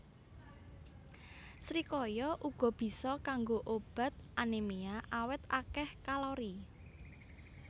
Srikaya uga bisa kanggo obat anémia awit akéh kalori